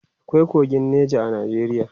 akwai kogin Nija a Najeriya